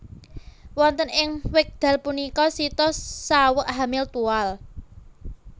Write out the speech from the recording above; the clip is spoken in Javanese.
Wonten ing wekdal punika Sita saweg hamil tual